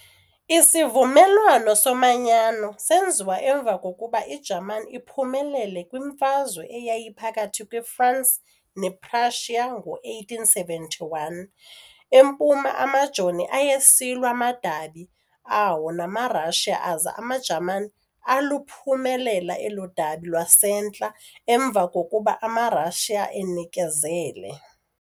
Isivumelwano somanyano senziwa emva kokuba iJamani iphumelele kwiMfazwe eyayiphakathi kwe-Fransi ne-Prussia ngo-1871. Empuma amajoni ayesilwa amadabi awo namaRussia aza amaJamani aluphumelela elo dabi lwasemntla emva kokuba amaRussia enikezele.